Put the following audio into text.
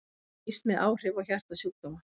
Óvíst með áhrif á hjartasjúkdóma